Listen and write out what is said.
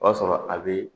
O y'a sɔrɔ a bɛ